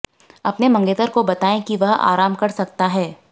अपने मंगेतर को बताएं कि वह आराम कर सकता है